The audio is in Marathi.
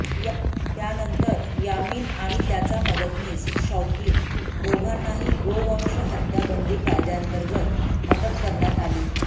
त्यानंतर यामीन आणि त्याचा मदतनीस शौकीन दोघांनाही गोवंश हत्या बंदी कायद्यांतर्गत अटक करण्यात आली